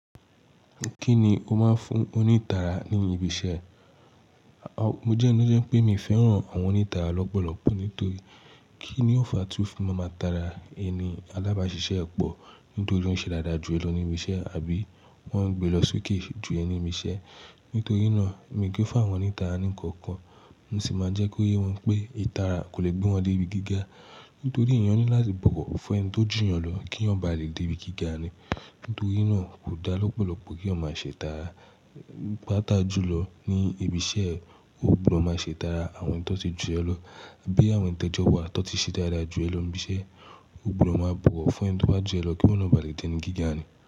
Kí ni o máa fún onítàrà ní ibi iṣẹ́? Mo jẹ́ eni to jẹ́ pé mi ò fẹ́ràn àwọn onítàrà lọ́pọ̀lọpọ̀ nítorí kíni ó fa tí wọn máa tara ẹni alábàáṣiṣẹ́ pọ̀ nítorí ó ń ṣe dáadáa jù ẹlòmíìṣẹ́ àbí wọ́n ń gbé lọ sókè ju ẹni mi iṣẹ́. Nítorí náà, èmi kì í fàwọ́n onítàrà nìkan kan, mo sì máa jẹ́ kó yé wọn pé ìtànra kò le gbé wọn dé ibi gíga nítorí èèyàn ní láti bò wo fun ẹni tó jù yán lọ kí eyan ba lè dé ibi gíga ni. Nítorí náà, kò dá lọ́pọ̀lọpọ̀ kí eyan máa ṣe itara. Pä́apa jùlọ ní ibi iṣẹ́, o gbúdọ̀ máa ṣe tàrà àwọn tó ti ju ẹ lọ bí àwọn te jo wa tó ti ṣe dáadáa jù ẹ lo ni ibi ise, o gbúdọ̀ máa bò wo fun ẹni tó bá ju ẹ lọ kí wọ na bá lè dé ẹni gíga ni.